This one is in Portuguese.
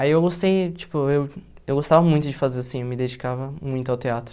Aí eu gostei, tipo, eu eu gostava muito de fazer assim, eu me dedicava muito ao teatro.